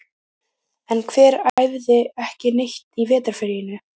En hver æfði ekki neitt í vetrarfríinu?